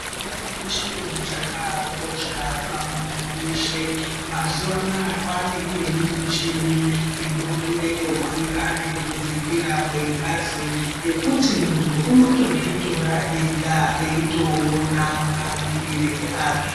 Utano chiro chakakosha pamuntu weshe. Mazuva anaya kwaane imweni michini inotore kukwira nekudzikira kwengazi yekuti muntu unotozvitora ega eitoona mamirire azvo.